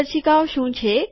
માર્ગદર્શિકાઓ શું છે